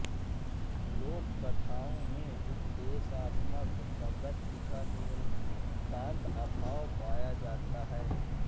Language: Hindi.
लोकगाथाओं में उपदेशात्मक प्रवृत्ति का नितांत अभाव पाया जाता है